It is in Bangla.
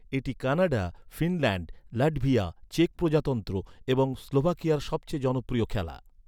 এটি কানাডা, ফিনল্যান্ড, লাটভিয়া, চেক প্রজাতন্ত্র এবং স্লোভাকিয়ার সব চেয়ে জনপ্রিয় খেলা।